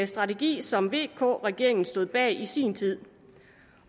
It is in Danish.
strategi som vk regeringen stod bag i sin tid